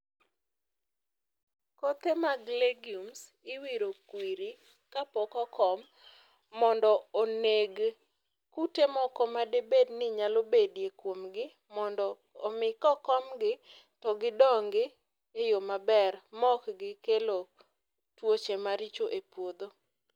kothe mag legumes iwiro kwiri kapok okom mondo oneg kute moko madibed ni nyalo bedie kuom gi mondo omi ka okomgi to gidongi e yoo maber maok gikelo tuoche maricho e puodho